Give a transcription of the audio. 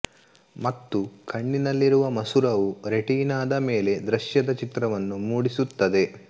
ಮತ್ತು ಕಣ್ಣಿನಲ್ಲಿರುವ ಮಸೂರವು ರೆಟಿನಾದ ಮೇಲೆ ದೃಶ್ಯದ ಚಿತ್ರವನ್ನು ಮೂಡಿಸುತ್ತದೆ